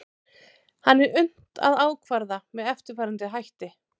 hann er unnt að ákvarða með eftirfarandi hætti